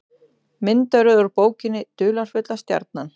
Myndaröð úr bókinni Dularfulla stjarnan.